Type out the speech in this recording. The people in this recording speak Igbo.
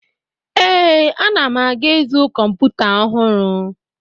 Ee, ana m aga izu kọmputa ọhụrụ.